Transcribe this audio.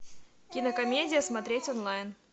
кинокомедия смотреть онлайн